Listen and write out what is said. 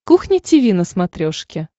кухня тиви на смотрешке